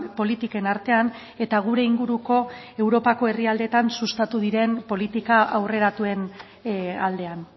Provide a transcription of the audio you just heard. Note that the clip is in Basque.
politiken artean eta gure inguruko europako herrialdeetan sustatu diren politika aurreratuen aldean